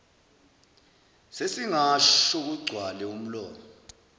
sesingasho kugcwale umlomo